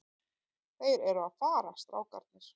Þeir eru að fara, strákarnir.